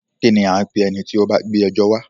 Kínní a ń pé ẹni tí o bá gbé ẹjọ́ wa?